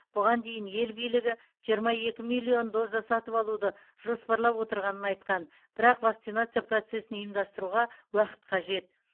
бұған дейін ел билігі жиырма екі миллион доза сатып алуды жоспарлап отырғанын айтқан бірақ вакцинация процесін ұйымдастыруға уақыт қажет